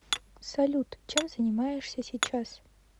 салют чем занимаешься сейчас